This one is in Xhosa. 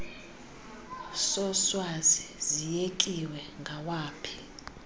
soswazi siyekiwe ngawaphi